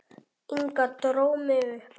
Inga dró mig upp.